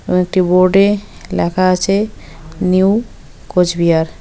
এবং একটি বোর্ড -এ লেখা আছে নিউ কোচবিহার।